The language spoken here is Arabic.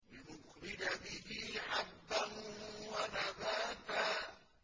لِّنُخْرِجَ بِهِ حَبًّا وَنَبَاتًا